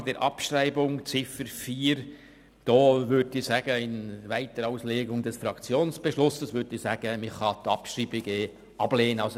Zur Frage der Abschreibung der Ziffer 4 würde ich in einer Weiterauslegung des Fraktionsbeschlusses sagen, dass man die Abschreibung ablehnen kann.